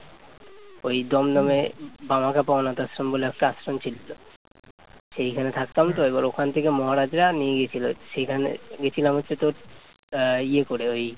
সেইখানে থাকতাম তো এবার ওখান থেকে মহারাজরা নিয়ে গিয়েছিল, সেখানে গেছিলাম হচ্ছে তোর আহ ইয়ে করে ওই